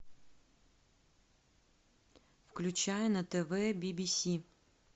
включай на тв би би си